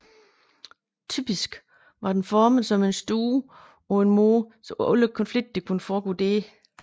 Typisk var den formet som en stue på en måde så alle konflikterne kunne foregå der